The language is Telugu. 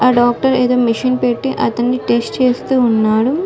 ఆ డాక్టర్ ఏదో మిషన్ పెట్టి అతన్ని టెస్ట్ చేస్తూ ఉన్నాడు.